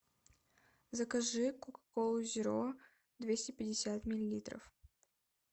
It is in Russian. закажи кока колу зеро двести пятьдесят миллилитров